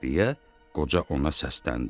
deyə qoca ona səsləndi.